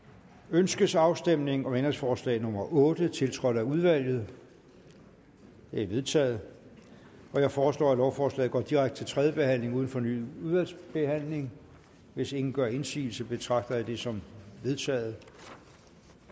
ønskes afstemning om ændringsforslag nummer otte tiltrådt af udvalget det er vedtaget jeg foreslår at lovforslaget går direkte til tredje behandling uden fornyet udvalgsbehandling hvis ingen gør indsigelse betragter jeg det som vedtaget